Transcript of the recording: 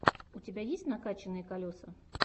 у тебя есть накачанные колеса